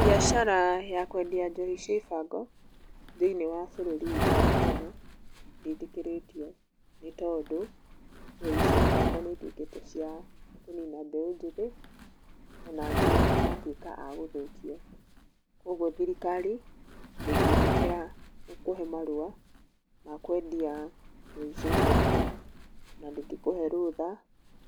Biacara ya kwendia njohi cia ibango thĩinĩ wa bũrũrĩ witũ wa Kenya ndĩtĩkĩrĩtwo nĩtondũ njohi cia ibango nĩituĩkĩte cia kũnina mbeũ njĩthĩ ona angĩ magatũĩka angũthũkio kwoguo thirikari ndĩkĩtĩkĩra gũkũhe marũa ma kwendia njohi cia ibango na ndĩngĩkũhe rutha